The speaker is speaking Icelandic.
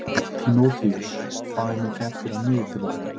Tímoteus, hvað er mikið eftir af niðurteljaranum?